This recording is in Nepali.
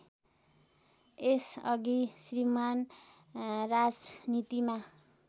यसअघि श्रीमान् राजनीतिमा